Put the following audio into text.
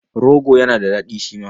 Rogo yana da daɗi shi ma.